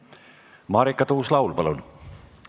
Marika Tuus-Laul, palun!